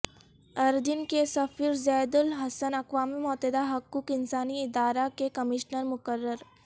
اردن کے سفیر زید الحسن اقوام متحدہ حقوق انسانی ادارہ کے کمشنر مقرر